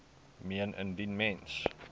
meen indien mens